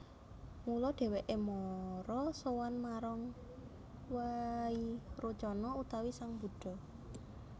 Mula dhèwèké mara sowan marang Wairocana utawi sang Buddha